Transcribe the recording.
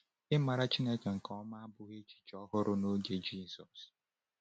Ịmara Chineke nke ọma abụghị echiche ọhụrụ n’oge Jizọs.